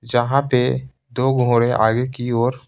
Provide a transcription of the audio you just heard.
जहाँ पे दो गोरे आगे की ओर।